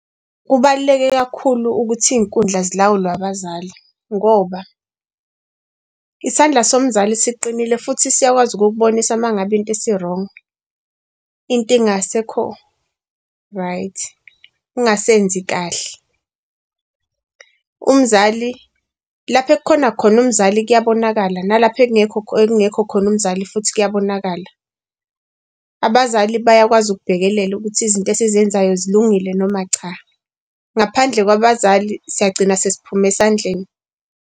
Kubaluleke kakhulu ukuthi iy'nkundla zilawulwe abazali ngoba isandla somzali siqinile futhi siyakwazi ukukubonisa uma ngabe into isi-wrong. Into ingasekho-right. Ungasenzi kahle umzali lapha ekukhona khona umzali k'yabonakala nalapho engekho khona umzali futhi k'yabonakala. Abazali bayakwazi ukubhekelela ukuthi izinto esizenzayo zilungile noma cha. Ngaphandle kwabazali siyagcina sesiphuma esandleni.